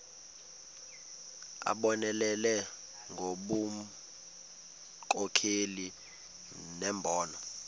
abonelele ngobunkokheli nembono